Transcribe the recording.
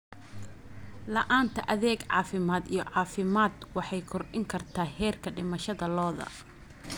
La'aanta adeeg caafimaad iyo caafimaad waxay kordhin kartaa heerka dhimashada lo'da.